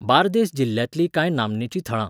बार्देस जिल्ल्यांतलीं कांय नामनेची थळां